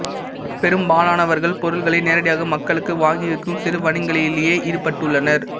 பெரும்பாலானவர்கள் பொருட்களை நேரடியாக மக்களுக்கு வாங்கி விற்கும் சிறுவணிகங்களிலேயே ஈடுபட்டுள்ளனர்